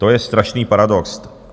To je strašný paradox.